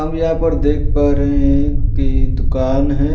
हम यहाँ पर देख पा रहे हैं कि दुकान है।